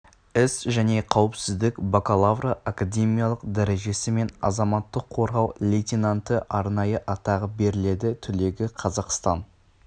іс және қауіпсіздік бакалавры академиялық дәрежесі мен азаматтық қорғау лейтенанты арнайы атағы беріледі түлегі қазақстан